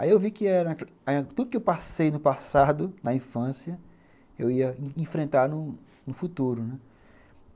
Aí eu vi era que tudo que eu passei no passado, na infância, eu ia enfrentar no no futuro, né?